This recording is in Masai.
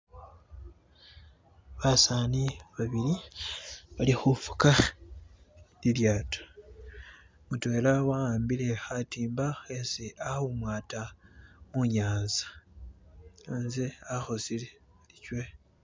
basaani babili balihufuka ilyato mutwela wawambile hatimba hesi ahumwata munyanza naze ahosele kywe